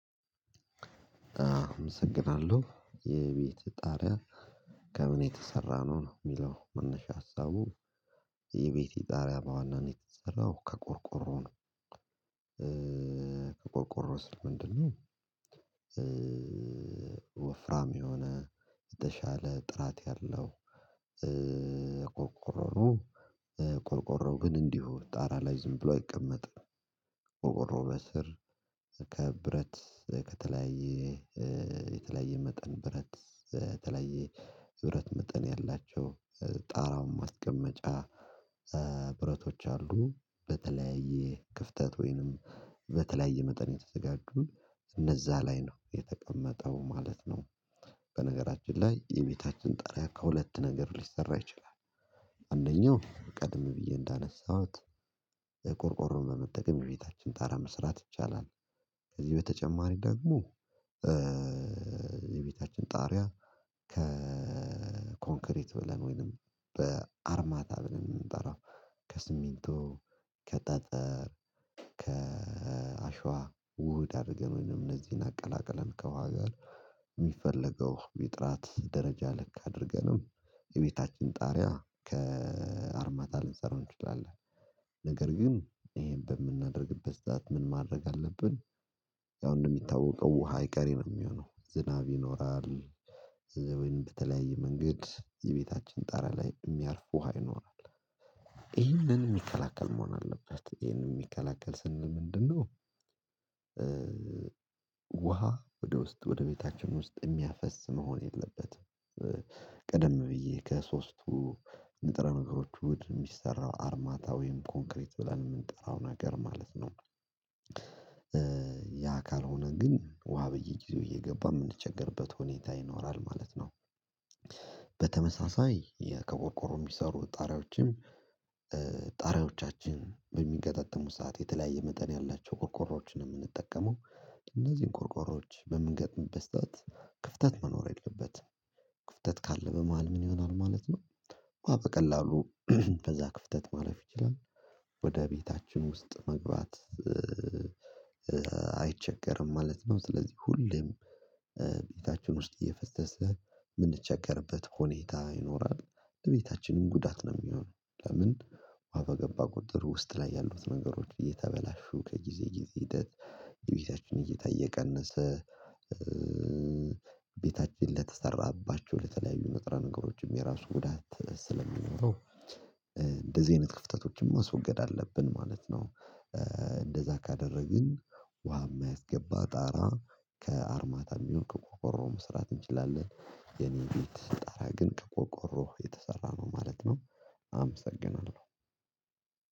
አመሰግናለሁ የቤትህ ጣሪያ ከምን የተሰራ ነው የሚለው መነሻ ሀሳቡ? የቤቴ ጣሪያ በዋናነት የተሰራው ከቆርቆሮ ነው። ከቆርቆሮ ስል ምንድን ነው? ወፍራም የሆነ የተሻለ ጥራት ያለው ቆርቆሮ ነው። ቆርቆሮው ግን እንዲሁ ጣራ ላይ ዝም ብሎ አይቀመጥም። ቆሮቆርው በስር ከብረት ከተለያየ የተለያየ መጠን ብረት የተለያየ የብረት መጠን ያላቸው ጣራውን ማስቀመጫ ብረቶች አሉ በተለያየ ክፍተት ወይንም በተለያየ መጠን የተዘጋጁ እነዛ ላይ ነው የተቀመጠው ማለት ነው። በነገራችን ላይ የቤታችን ጣሪያ ከሁለት ነገር ሊሰራ ይችላል። አንደኛው ቀድም ብዬ እንዳነሳሁት ቆርቆሮን በመጠቀም የቤታችን ጣራ መስራት ይቻላል። ከዚህ በተጨማሪ ደግሞ የቤታችን ጣሪያ ከኮንክሪት ብለን ወይንም በአርማታ ብለን የምንጠራው ከስሚንቶ ከጠጠር ከአሸዋ ውህድ አድርገን እነዚህን አቀላቅለን ከዋጋ የሚፈለገው የጥራት ደረጃ ልክ አድርገንም የቤታችን ጣሪያ ከአርማታ ልንሰራው እንችላለን። ነገር ግን ይሄን በምናደርግበት ሰዓት ምን ማድረግ አለብን? ያው እንደሚታወቀው ውሃ አይቀሬ የሚሆነው ዝናብ ይኖራል። ዘዌን በተለያየ መንገድ የቤታችን ጣራ ላይ የሚያርፍ ውሃ ይኖራል። ይህንን የሚከላከል መሆን አለበት ይህንን የሚከላከል ስንል ምንድነው? ውሃ ወደ ውስጥ ወደ ቤታችን ውስጥ የሚያፈስ መሆን የለበትም። ቀደም ብዬ ከሶስቱ ንጥረ ነገሮች ውህድ ነው የሚሰራው አርማታ ወይም ኮንክሪት ብለን የምንጠራው ነገር ማለት ነው። ያ ካልሆነ ግን ውሃ በየጊዜው እየገባ የምንቸገርበት ሁኔታ ይኖራል ማለት ነው። በተመሳሳይ ከቆርቆሮ የሚሰሩ ጣሪያዎችም ጣሪያዎቻችን በሚገጣጠሙ ሰዓት የተለያየ መጠን ያላቸው ቆርቆሮዎችን ነው የምንጠቀመው። እነዚህን ቁርቆሮዎች በምንገጥምበት ስዓት ክፍተት መኖር የለበትም። ክፍተት ካለ በመሃል ምን ይሆናል ማለት ነው። ውሃ በቀላሉ በዛ ክፍተት ማለፍ ይችላል። ወደ ቤታችን ውስጥ መግባት አይቸገርም ማለት ነው። ስለዚህ ሁሌም ቤታችን ውስጥ እየፈሰሰ የምንቸገርበት ሁኔታ ይኖራል። ለቤታችንም ጉዳት ነው የሚሆነው ለምን? ውሃ በገባ ቁጥር ውስጥ ላይ ያሉት ነገሮች እየተበላሹ ከጊዜ ጊዜ ሂደት የቤታችን እየታ እየቀነሰ ቤታችን ለተሰራባቸው ለተለያዩ ንጥረ ነገሮችም የራሱ ጉዳት ስለሚኖረው እንደዚህ አይነት ክፍተቶችን ማስወገድ አለብን ማለት ነው። እንደዛ ካደረግን ውሃ የማያስገባ ጣራ ከአርማታ ይሁን ከቆርቆሮ መስራት እንችላለን የኔ ቤት ጣራ ግን ከቆርቆሮ የተሰራ ነው ማለት ነው። አመሰግናለሁ